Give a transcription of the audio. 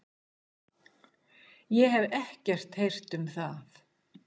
Ég hef ekkert heyrt um það.